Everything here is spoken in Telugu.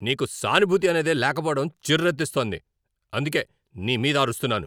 నీకు సానుభూతి అనేదే లేకపోవడం చిర్రెత్తిస్తోంది, అందుకే నీమీద అరుస్తున్నాను.